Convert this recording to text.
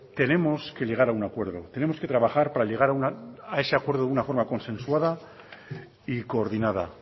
tenemos que llegar a un acuerdo tenemos que trabajar para llegar a ese acuerdo de una forma consensuada y coordinada